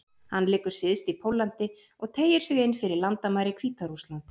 Hann liggur syðst í Póllandi og teygir sig inn fyrir landamæri Hvíta-Rússlands.